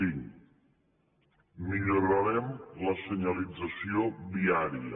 cinc millorarem la senyalització viària